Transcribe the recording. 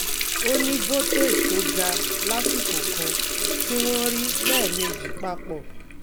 o ni voltage to ga lasiko kan ti won ri leemeji papo